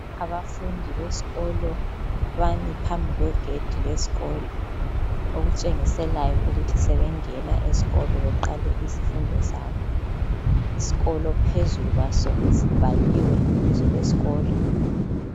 Abafundi besikolo bame phambi kwegedi lesikolo okutshengisela ukuthi sebengena esikolo beqale izifundo zabo, isikolo phezulu kwaso sibhaliwe ibizo lesikolo.